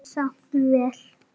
Leið samt vel.